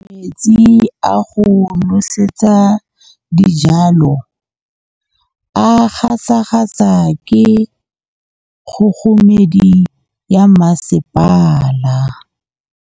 Metsi a go nosetsa dijalo a gasa gasa ke kgogomedi ya masepala.